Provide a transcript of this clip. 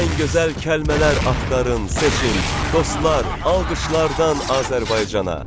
Ən gözəl kəlmələr axtarın, seçin, dostlar, alqışlardan Azərbaycana.